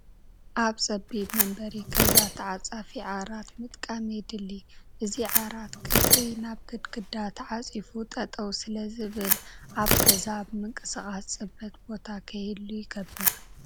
ኣብ ፀቢብ መንበሪ ገዛ ተዓፃፊ ዓራት ምጥቃም የድሊ፡፡ እዚ ዓራት ቀትሪ ናብ ግድግዳ ተዓፂፉ ጠጠው ስለዝብል ኣብ ገዛ ኣብ ምንቅስቓስ ፅበት ቦታ ከይህሉ ይገብር፡፡